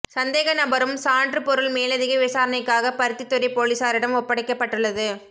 சந்தேக நபரும் சான்று பொருள் மேலதிக விசாரணைக்காக பருத்தித்துறை பொலிசாரிடம் ஒப்படைக்கப்பட்டுள்ளது